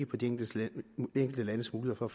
på de enkelte landes mulighed for